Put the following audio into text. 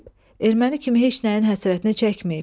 Erməni kimi heç nəyin həsrətinə çəkməyib.